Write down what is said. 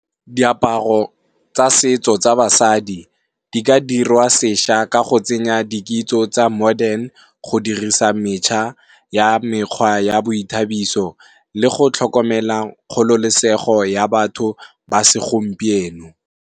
Diaparo tsa setso tsa basadi di ka dirwa seša ka go tsenya dikitso tsa modern go dirisa metšha ya mekgwa ya boithabiso le go tlhokomela kgololosego ya batho ba se gompieno.